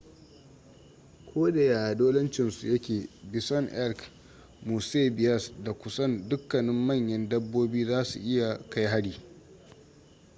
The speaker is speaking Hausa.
ko da yaya dolancin su yake bison elk moose bears da kusan dukkanin manyan dabbobi za su iya kai hari